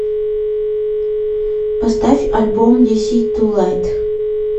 поставь альбом диси ту лайт